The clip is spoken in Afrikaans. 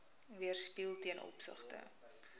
weerspieël ten opsigte